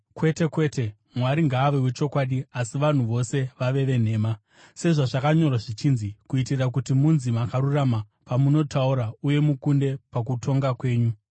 Kwete, kwete! Mwari ngaave wechokwadi, asi vanhu vose vave venhema. Sezvazvakanyorwa zvichinzi: “Kuitira kuti munzi makarurama pamunotaura, uye mukunde pakutonga kwenyu.”